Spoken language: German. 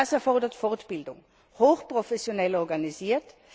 Das erfordert Fortbildung, hochprofessionell organisiert.